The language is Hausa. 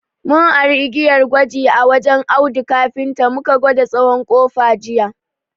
Mun ari igiyar gwaji a wajen Audu kafinta mu ka gwada tsawon ƙofa jiya.